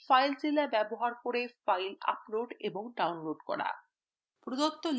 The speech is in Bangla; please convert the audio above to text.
filezilla ব্যবহার করে files upload এবং download করা